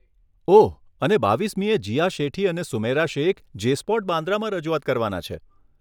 ઓહ, અને બાવીસમીએ, જીયા શેઠી અને સુમૈરા શેખ જે સ્પોટ, બાન્દ્રામાં રજૂઆત કરવાના છે.